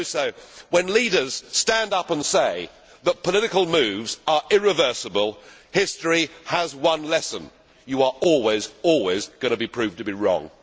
Mr Barroso, when leaders stand up and say that political moves are irreversible, history has one lesson you are always, always, going to be proved to be wrong.